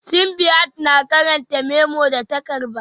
Simbiat na karanta memo da ta karba